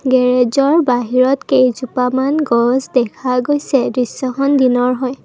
গেৰেজৰ বাহিৰত কেইজোপামান গছ দেখা গৈছে দৃশ্যখন দিনৰ হয়।